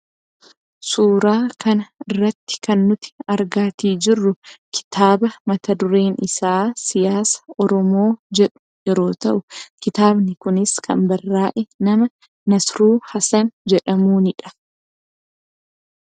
Suuraa kana irratti kan nuti argaatii jirru, kitaaba mata dureen isaa siyaasa Oromoo jedhu yeroo ta'u, kitaabni kunis kan barraa'e nama Nasiruu Hasan jedhamuunidha.